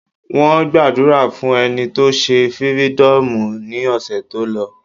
Wọ́n gbàdúrà fún ẹni tó se fírídọ̀mù ní ọ̀sẹ̀ tó lọ.